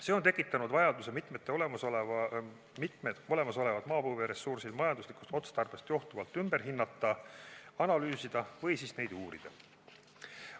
See on tekitanud vajaduse mitmed olemasolevad maapõueressursid majanduslikust otstarbest johtuvalt ümber hinnata, neid analüüsida või uurida.